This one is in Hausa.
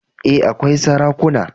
E, akwai sarakuna.